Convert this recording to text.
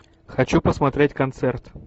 хочу посмотреть концерт